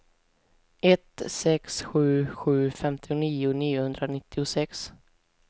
ett sex sju sju femtionio niohundranittiosex